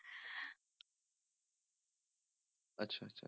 ਅੱਛਾ ਅੱਛਾ।